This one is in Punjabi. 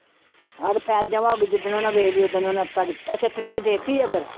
ਹਾਂ ਤੇ file ਜਮਾ ਹੋ ਗਈ ਜਿੱਦਣ ਉਹਨਾਂ ਵੇਖ ਲਈ ਉੱਦਣ ਉਹਨਾਂ ਤਿੰਨ ਅੱਛਾ ਤਰੀਕ ਦੇ ਦਿੱਤੀ ਆ ਫਿਰ।